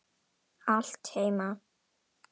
Allt heima.